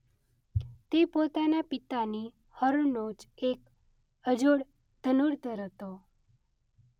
તે પોતાના પિતાની હરોળનો જ એક અજોડ ધનુર્ધર હતો.